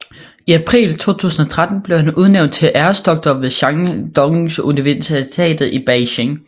I april 2013 blev han udnævnt til æresdoktor ved Shandonguniversitetet i Beijing